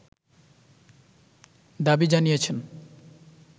দাবি জানিয়েছেন